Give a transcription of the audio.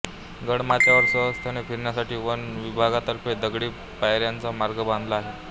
गडमाथ्यावर सहजतने फिरण्यासाठी वन विभागातर्फे दगडी पायऱ्यांचा मार्ग बांधला आहे